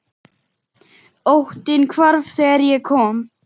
Óttinn hvarf þegar ég kom.